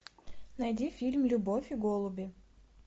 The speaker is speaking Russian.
найди фильм любовь и голуби